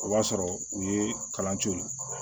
O b'a sɔrɔ u ye kalan to yen